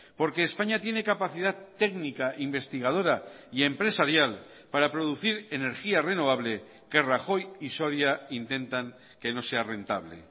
porque españa tiene capacidad técnica investigadora y empresarial para producir energía renovable que rajoy y soria intentan que no sea rentable